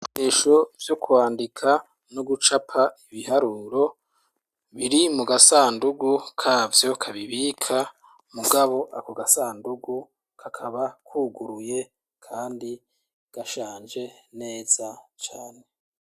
Ibikoresho vyo kwandika no gucapa ibiharuro biri mu gasandugu kavyo kabibika mugabo ako gasandugu kakaba kuguruye kandi gashanje neza cane.